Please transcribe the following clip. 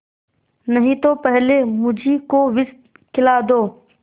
नहीं तो पहले मुझी को विष खिला दो